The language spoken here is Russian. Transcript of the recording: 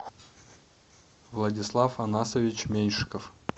владислав анасович меньшиков